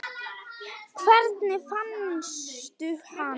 Hvernig fannstu hann?